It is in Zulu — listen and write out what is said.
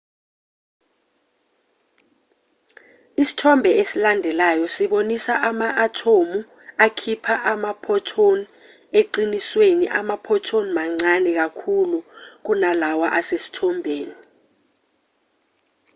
isithombe esilandelayo sibonisa ama-athomu akhipha ama-photon eqinisweni ama-photon mancane kakhulu kunalawa asesithombeni